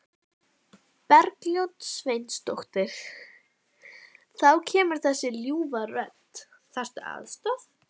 Bergljót Sveinsdóttir: Þá kemur þessi ljúfa rödd, þarftu aðstoð?